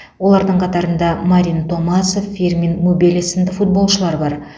олардың қатарында марин томасов фирмин мубеле сынды футболшылар бар